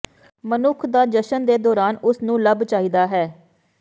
ਮਨੁੱਖ ਦਾ ਜਸ਼ਨ ਦੇ ਦੌਰਾਨ ਉਸ ਨੂੰ ਲੱਭ ਚਾਹੀਦਾ ਹੈ